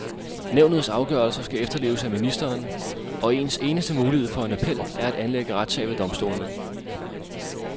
Nævnets afgørelser skal efterleves af ministeren, og ens eneste mulighed for en appel er at anlægge retssag ved domstolene.